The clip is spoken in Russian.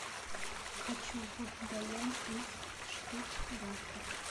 хочу в далянь из штутгарта